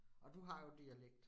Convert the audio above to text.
Og du har jo dialekt